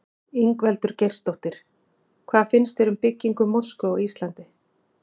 Ingveldur Geirsdóttir: Hvað finnst þér um byggingu mosku á Íslandi?